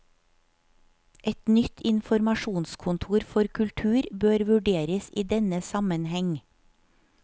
Et nytt informasjonskontor for kultur bør vurderes i denne sammenheng.